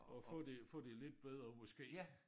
At få det få det lidt bedre måske